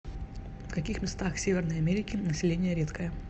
в каких местах северной америки население редкое